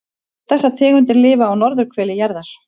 Þessar tegundir lifa á norðurhveli jarðar.